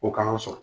O k'an sɔn